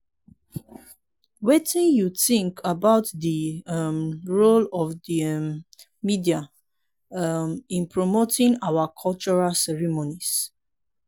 wetin you think about di um role of um media um in promoting our cultural ceremonies?